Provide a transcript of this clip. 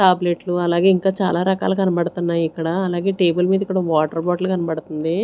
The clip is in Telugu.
టాబ్లెట్లు అలాగే ఇంకా చాలా రకాలు కనబడుతున్నాయి ఇక్కడ అలాగే టేబుల్ మీద ఇక్కడ ఒ వాటర్ బాటిల్ కనబడుతుంది.